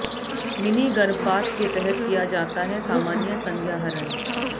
mini गर्भपात के तहत किया जाता है सामान्य संज्ञाहरण